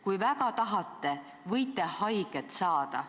Kui väga tahate, võite haiget saada.